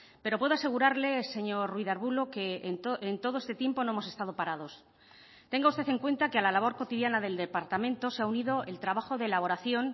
pero puedo asegurarle señor ruiz de arbulo que en todo este tiempo no hemos estado parados tenga usted en cuenta que a la labor cotidiana del departamento se ha unido el trabajo de elaboración